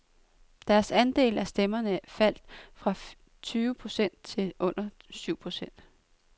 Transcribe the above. Deres andel af stemmerne faldt fra tyve procent til under syv procent.